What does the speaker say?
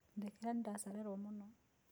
Ndekera nĩndacererwo mũno.